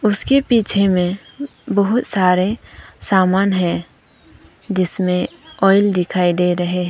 उसके पीछे में बहुत सारे सामान है जिसमें ऑयल दिखाई दे रहे हैं।